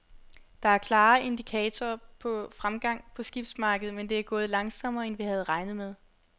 Der er klare indikatorer på fremgang på skibsmarkedet, men det er gået langsommere, end vi havde regnet med.